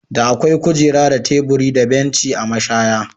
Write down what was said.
Da akwai kujera da teburi da banci a mashaya.